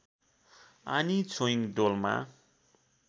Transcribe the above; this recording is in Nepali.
आनी छोइङ डोल्मा